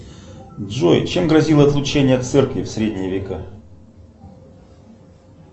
джой чем грозило отлучение от церкви в средние века